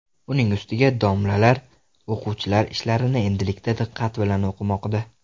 Uning ustiga, domlalar o‘quvchilar ishlarini endilikda diqqat bilan o‘qimoqda.